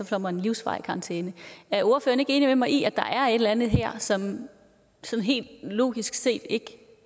får man livsvarigt karantæne er ordføreren ikke enig med mig i at der er et eller andet her som helt logisk set ikke